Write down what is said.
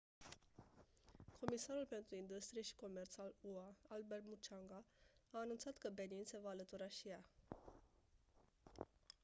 comisarul pentru industrie și comerț al ua albert muchanga a anunțat că benin se va alătura și ea